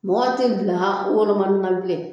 Mɔgɔ tɛ bilan wolomani na bilen